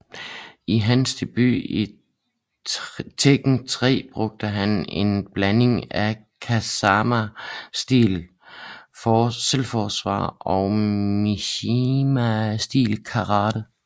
I hans debut i Tekken 3 brugte han en blanding af Kazama stil selvforsvar og Mishima stil Karate